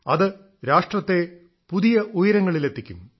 അത് രാഷ്ട്രത്തെ പുതിയ പുതിയ ഉയരങ്ങളിലെത്തിക്കും